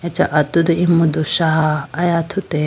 acha atudu imudu shaa athuti.